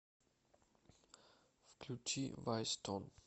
включи вайстон